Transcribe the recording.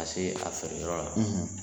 se a feere yɔrɔ la.